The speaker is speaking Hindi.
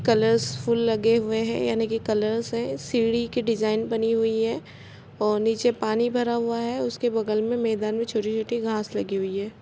कलर्स फुल लगे हुए हैं यानी की कलर से सीडी की डिजाइन बनी हुई है और नीचे पानी भरा हुआ है उसके बगल में मैदान में छोटी-छोटी घास लगी हुई है।